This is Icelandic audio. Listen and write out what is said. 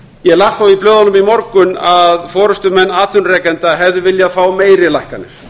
ég las í blöðunum í morgun að forustumenn atvinnurekenda hefðu viljað fá meiri lækkanir